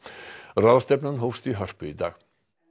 ráðstefnan hófst í Hörpu í dag